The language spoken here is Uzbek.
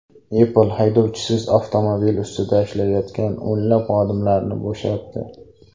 Apple haydovchisiz avtomobil ustida ishlayotgan o‘nlab xodimlarni bo‘shatdi.